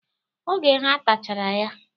Oge ha tachara ya.